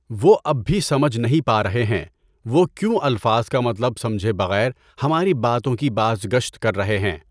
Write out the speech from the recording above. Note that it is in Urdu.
وہ اب بھی سمجھ نہیں پا رہے ہیں۔ وہ کیوں الفاظ کا مطلب سمجھے بغیر ہماری باتوں کی بازگشت کر رہے ہیں۔